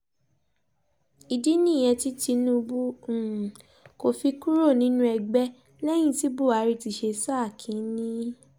ìdí nìyẹn tí tinubu um kò fi kúrò nínú ẹgbẹ́ lẹ́yìn tí buhari ti ṣe sáà kín-ín-ní um